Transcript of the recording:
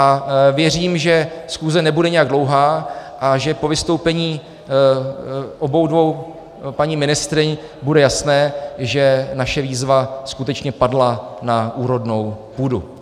A věřím, že schůze nebude nijak dlouhá a že po vystoupení obou dvou paní ministryň bude jasné, že naše výzva skutečně padla na úrodnou půdu.